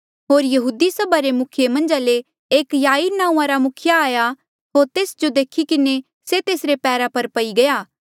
होर यहूदी सभा रे मुखिये मन्झा ले एक याईर नांऊँआं रा मुखिया आया होर तेस जो देखी किन्हें तेसरे पैरा पर पई गया